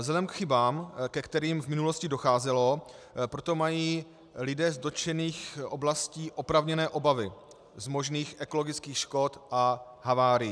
Vzhledem k chybám, ke kterým v minulosti docházelo, proto mají lidé z dotčených oblastí oprávněné obavy z možných ekologických škod a havárií.